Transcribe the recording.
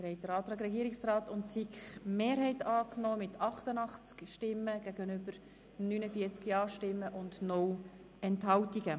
Sie haben den Antrag des Regierungsrats und der SiK-Mehrheit mit 49 Ja- gegen 88 Nein-Stimmen angenommen.